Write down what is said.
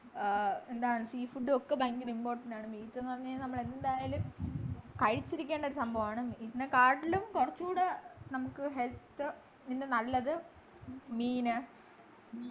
ആഹ് എന്താണ് sea food ഉം ഒക്കെ ഭയങ്കര important ആണ് meat ന്നു പറഞ്ഞു കഴിഞ്ഞാൽ നമ്മളെന്തായാലും കഴിച്ചിരിക്കേണ്ട ഒരു സംഭവമാണ് meat നെക്കാട്ടിലും കൊറച്ചു കൂടെ നമുക്ക് health നു നല്ലത് മീന്